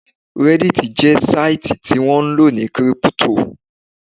Reddit jẹ́ sáìtì tí wọ́n ńlò ní kírípútò